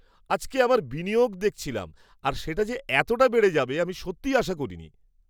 আজকে আমার বিনিয়োগ দেখছিলাম, আর সেটা যে এতটা বেড়ে যাবে আমি সত্যিই আশা করিনি।